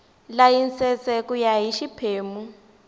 layisense ku ya hi xiphemu